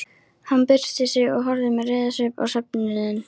Hann byrsti sig og horfði með reiðisvip á söfnuðinn.